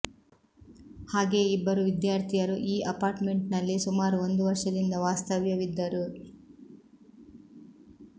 ಹಾಗೆಯೇ ಇಬ್ಬರು ವಿದ್ಯಾರ್ಥಿಯರು ಈ ಅಪಾರ್ಟ್ಮೆಂಟ್ ನಲ್ಲಿ ಸುಮಾರು ಒಂದು ವರ್ಷದಿಂದ ವಾಸ್ತವ್ಯವಿದ್ದರು